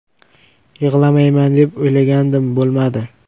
Yig‘lamayman deb o‘ylagandim, bo‘lmadi”.